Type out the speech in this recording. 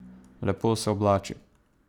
Lepo se oblači.